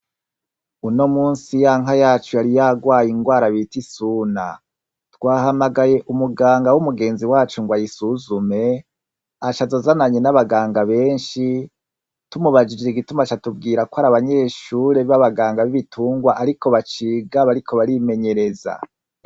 Unomusi ya nka yacu yari yagwaye ingwara bita isuna twahalagaye umuganga umugenzi wacu ngo ayisuzule aca aza azananye nabaganga benshi tumubajije igituma aca atubwira ko ari abanyeshure baba Ganga bibitungwa Ariko baciga Ariko bariko batimenyereza.